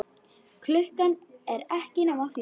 Klukkan er ekki nema fjögur.